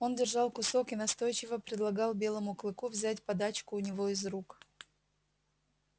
он держал кусок и настойчиво предлагал белому клыку взять подачку у него из рук